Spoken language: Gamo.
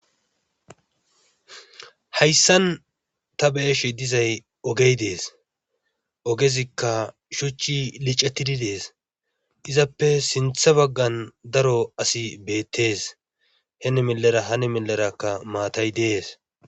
Hayssan ta be'ashe dizay oge dees. ogezikka shuchchi liccetidi dees. Izappe sinththa baggan daro asi beetees.heni milera hini milerakka maatay dees.